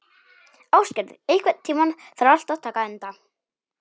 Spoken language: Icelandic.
Ásgerður, einhvern tímann þarf allt að taka enda.